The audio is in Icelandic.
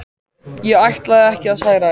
Ég ætlaði ekki að særa þig.